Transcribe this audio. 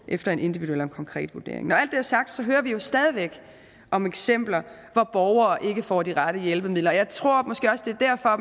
efter en individuel og en konkret vurdering når alt det er sagt hører vi jo stadig væk om eksempler hvor borgere ikke får de rette hjælpemidler og jeg tror måske også det er derfor